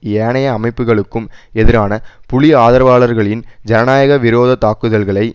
ஏனைய அமைப்புக்களுக்கும் எதிரான புலி ஆதரவாளர்களின் ஜனநாயக விரோத தாக்குதல்களை